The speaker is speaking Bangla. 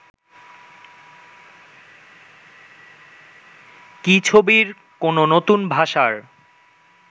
কি ছবির কোনো নতুন ভাষার